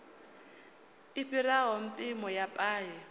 i fhiraho mpimo ya paye